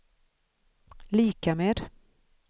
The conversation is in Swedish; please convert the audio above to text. lika med